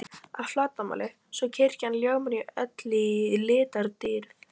að flatarmáli, svo kirkjan ljómar öll í litadýrð.